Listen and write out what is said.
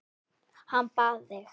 Hann bað þig.